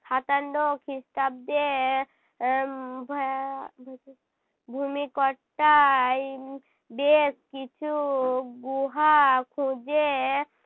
সাতান্ন খিষ্টাব্দে আহ ভ্যা~ ভূমিকর টাই বেশ কিছু গুহা খুঁজে